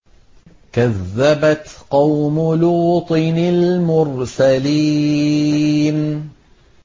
كَذَّبَتْ قَوْمُ لُوطٍ الْمُرْسَلِينَ